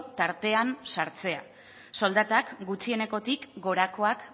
tartean sartzea soldatak gutxienekotik gorakoak